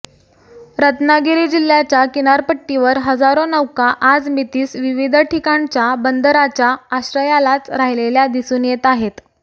रत्नागिरी जिल्हय़ाच्या किनारपट्टीवर हजारो नौका आजमितीस विविध ठिकाणच्या बंदरांच्या आश्रयालाच राहिलेल्या दिसून येत आहेत